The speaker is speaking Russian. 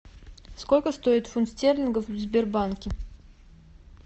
сколько стоит фунт стерлингов в сбербанке